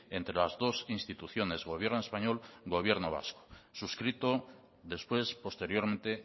entre las dos instituciones gobierno español gobierno vasco suscrito después posteriormente